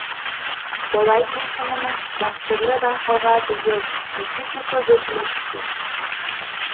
олай дейтініміз дәстүрлі байқауға биыл екі есе көп өтінім түскен